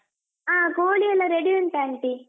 ಹ ಕೋಳಿ ಎಲ್ಲ ready ಉಂಟ್ aunty.